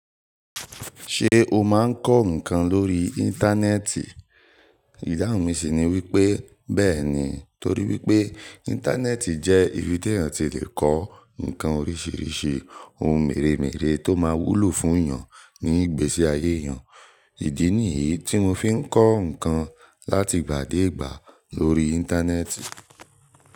Ṣé o máa ń kọ́ nǹkan lórí Íńtánẹ́ẹ̀tì? Ìdáhùn mi sì ni wípé bẹ́ẹ̀ ni, torí wípé Íńtánẹ́ẹ̀tì jẹ́ ibi tí èèyàn ti le kọ́ nǹkan oríṣiríṣi, ohun mèremère tó máa wúlò fún èèyàn ní ìgbésí ayé èèyàn. Ìdí ni yíi tí mo fi ń kọ́ nǹkan láti ìgbà dé ìgbà lórí Íńtánẹ́ẹ̀tì.